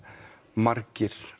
margir